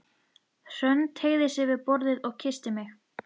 Hrönn teygði sig yfir borðið og kyssti mig.